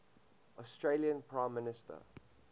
australian prime minister